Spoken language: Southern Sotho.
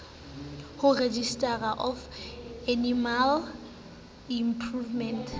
ho registrar of animal improvement